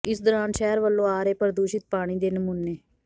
ਇਸ ਦੌਰਾਨ ਸ਼ਹਿਰ ਵੱਲੋਂ ਆ ਰਹੇ ਪ੍ਰਦੂਸ਼ਿਤ ਪਾਣੀ ਦੇ ਨਮੂਨੇ